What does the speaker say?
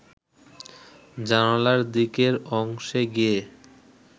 জানালার দিকের অংশে গিয়ে